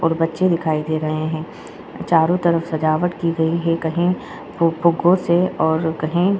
बच्चे दिखाई दे रहे है चारों तरफ सजावट की गयी है कही फुग्गों से और कही --